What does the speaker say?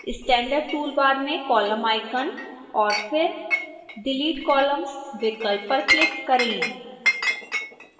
standard toolbar में column icon और फिर delete columns विकल्प पर click करें